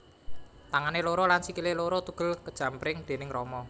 Tangané loro lan sikilé loro tugel kajemparing déning Rama